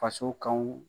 Faso kanw